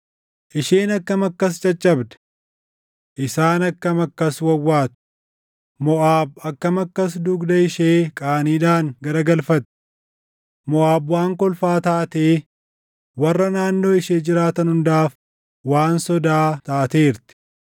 “Isheen akkam akkas caccabde! Isaan akkam akkas wawwaatu! Moʼaab akkam akkas dugda ishee qaaniidhaan garagalfatte! Moʼaab waan kolfaa taatee, warra naannoo ishee jiraatan hundaaf waan sodaa taateerti.”